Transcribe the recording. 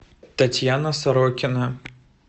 татьяна сорокина